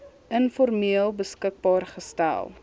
informeel beskikbaar gestel